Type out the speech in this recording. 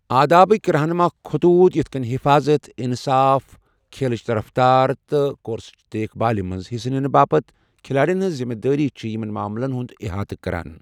آدابٕک رہنما خطوٗط یِتھ کٔنۍ حفاظت، انصاف، کھیلٕچ رفتار، تہٕ کورسٕچ دیکھ بھالہِ منٛز حصہٕ نِنہٕ باپتھ کھلٲڑیَن ہٕنٛز ذمہٕ دٲری چھِ یمن معاملَن ہُنٛد احاطہ کران ۔